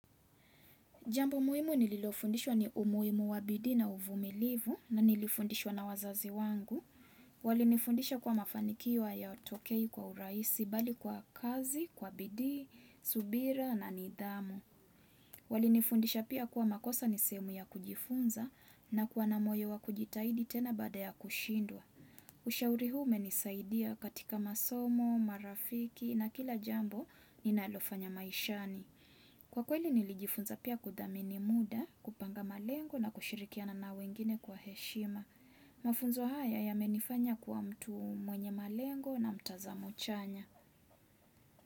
Jambo muhimu nililofundishwa ni umuhimu wa bidii na uvumilivu na nilifundishwa na wazazi wangu. Walinifundisha kuwa mafanikio hayatokei kwa urahisi bali kwa kazi, kwa bidii, subira na nidhamu. Walinifundisha pia kuwa makosa ni sehemu ya kujifunza na kuwa na moyo wa kujitahidi tena bada ya kushindwa. Ushauri huu umenisaidia katika masomo, marafiki na kila jambo ninalofanya maishani. Kwa kweli nilijifunza pia kudhamini muda, kupanga malengo na kushirikiana na wengine kwa heshima. Mafunzo haya yamenifanya kuwa mtu mwenye malengo na mtazamo chanya.